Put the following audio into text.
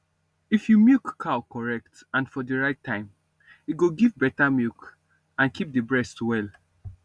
if you milk cow correct and for the right time e go give better milk and keep the breast well